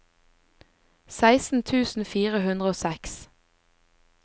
seksten tusen fire hundre og seks